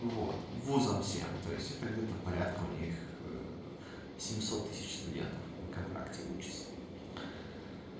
вот вузом всем то есть это где-то порядка у них семьсот тысяч студентов на контракте учатся